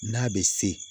N'a bɛ se